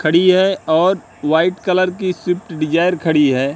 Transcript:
खड़ी है और वाइट कलर की स्विफ्ट डिजायर खड़ी है।